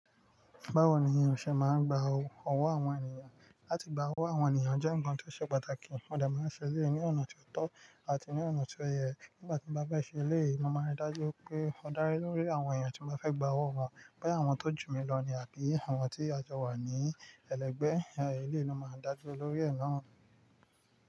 Báwo ni irinṣẹ́ máa ń gba owó àwọn ènìyàn? Láti gba owó àwọn ènìyàn jẹ́ ǹkan tó ṣe pàtàkì. Ọ̀dẹ máa ń ṣe èyí ní ọ̀nà tó tọ́ àti ní ọ̀nà tó yẹ. Nígbà tí mo bá fẹ́ ṣe eléyìí, mo máa ń dájú pé ó dá lé lórí àwọn èèyàn tí mo fẹ́ gba owó wọn. Ṣé àwọn tó jù mí lọ ní à kí àwọn tí a jọ wà ní ẹlẹgbẹ́? Ẹ̀rọ eléyìí ló máa ń dájú lórí ẹ̀ náà.